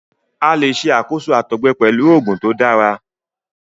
A le ṣakoso àtọgbẹ pẹlu oogun to dara